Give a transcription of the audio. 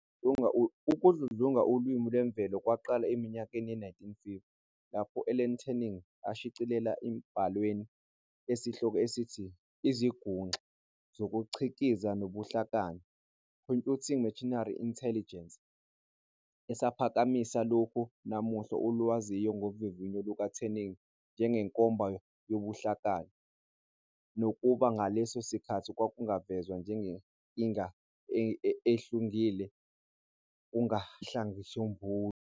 Ukudludlunga ulimi lwemvelo kwaqala eminyakeni ye-1950, lapho u-Alan Turing eshicilela isibhalwa esinisehloko esithi "IziNguxa zokuCikiza nobuHlakani" "Computing Machinery and Intelligence", esaphakamisa lokho namuhla olwaziwa ngovivinyo luka-Turing njengenkomba yobuhlakani, nakuba ngaleso sikhathi kwakungavezwa njengenkinga ehlungile kuhlakahlisombulu.